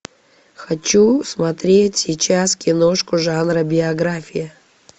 хочу смотреть сейчас киношку жанра биография